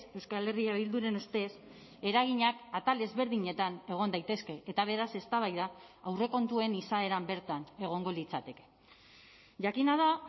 euskal herria bilduren ustez eraginak atal ezberdinetan egon daitezke eta beraz eztabaida aurrekontuen izaeran bertan egongo litzateke jakina da